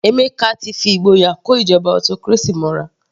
Emeka ti fi ìgboyà kó ìjọba autocracy mọ́ra.